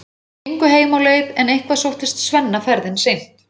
Þeir gengu heim á leið en eitthvað sóttist Svenna ferðin seint.